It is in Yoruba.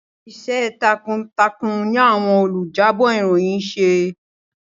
Iṣẹ́ takuntakun ní àwọn olùjábọ̀ ìròyìn ń ṣe.